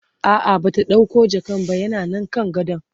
a'a Bata ɗauko jakan ba yana Nan kan gadon